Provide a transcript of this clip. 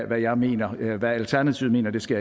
hvad jeg mener hvad alternativet mener skal